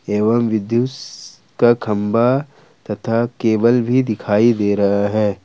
एवं विद्युस का खंभा तथा केबल भी दिखाई दे रहा है।